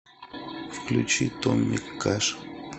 включи томми кэш